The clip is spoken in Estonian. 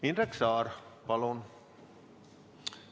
Indrek Saar, palun!